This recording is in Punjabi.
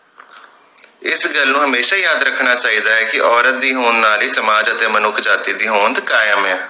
ਇਸ ਗੱਲ ਨੂੰ ਹਮੇਸ਼ਾ ਹੀ ਯਾਦ ਰੱਖਣਾ ਚਾਹੀਦਾ ਹੈ ਕਿ ਔਰਤ ਦੀ ਹੋਣ ਨਾਲ ਹੀ ਸਮਾਜ ਅਤੇ ਮਨੁੱਖ ਜਾਤਿ ਦੀ ਹੋਂਦ ਕਾਇਮ ਹੈ